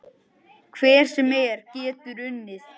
Hver sem er getur unnið.